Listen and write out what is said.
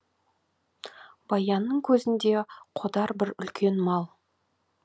баянның көзінде қодар бір үлкен мал